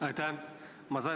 Aitäh!